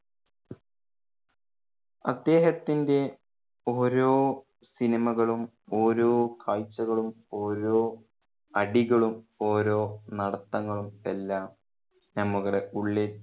അദ്ദേഹത്തിന്റെ ഓരോ സിനിമകളും ഓരോ കാഴ്ച്ചകളും ഓരോ അടികളും ഓരോ നടത്തങ്ങളും എല്ലാം നമ്മുടെ ഉള്ളിൽ